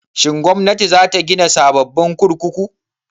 Shin Gwamnati za ta gina sababbin kurkuku?